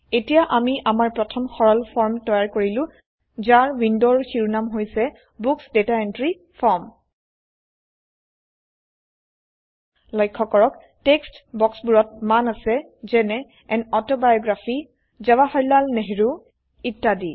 এতিয়া আমি আমাৰ প্ৰথম সৰল ফৰ্ম তৈয়াৰ কৰিলো যাৰ উইন্ডোৰ শিৰোনাম হৈছে বুক্স ডাটা এন্ট্ৰি ফৰ্ম লক্ষ্য কৰক টেক্সট বাক্সবোৰত মান আছে যেনে আন অটোবায়োগ্ৰাফী জাৱাহাৰলাল নেহৰো ইত্যাদি